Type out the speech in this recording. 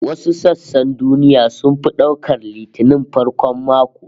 Wasu sassan duniya sun fi daukar Litinin farkon mako